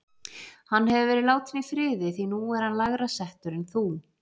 Hann hefur verið látinn í friði, því nú er hann lægra settur en þú